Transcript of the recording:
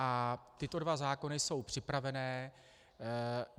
A tyto dva zákony jsou připravené.